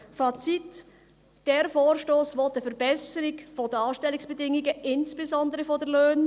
Fazit: Dieser Vorstoss will eine Verbesserung der Anstellungsbedingungen, insbesondere von den Löhnen.